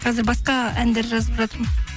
қазір басқа әндер жазып жатырмын